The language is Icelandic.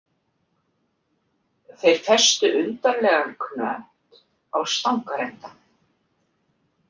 Þeir festu undarlegan knött á stangarenda.